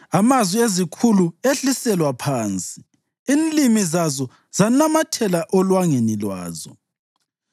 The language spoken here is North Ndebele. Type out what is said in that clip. amazwi ezikhulu ehliselwa phansi, inlimi zazo zanamathela olwangeni lwazo.